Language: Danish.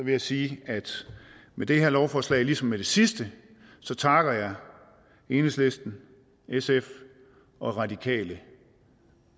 jeg sige at med det her lovforslag ligesom med det sidste takker jeg enhedslisten sf og radikale